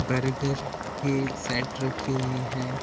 Burger की set रखी हुई है।